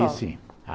Aí sim.